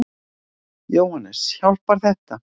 Jóhannes: Hjálpar þetta?